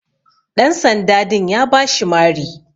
Ɗan sanda din ya bashi Mari.